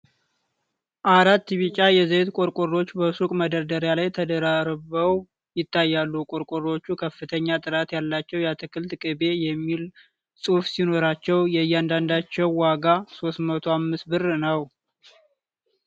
አራት ቢጫ የዘይት ቆርቆሮዎች በሱቅ መደርደሪያ ላይ ተደራርበው ይታያሉ። ቆርቆሮዎቹ "ከፍተኛ ጥራት ያለው የአትክልት ቅቤ" የሚል ጽሑፍ ሲኖራቸው የእያንዳንዳቸው ዋጋ 305 ብር ነው።